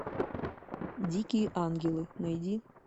дикие ангелы найди